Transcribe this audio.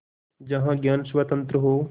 जहाँ ज्ञान स्वतन्त्र हो